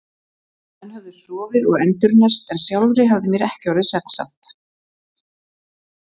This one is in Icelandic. Menn höfðu sofið og endurnærst en sjálfri hafði mér ekki orðið svefnsamt.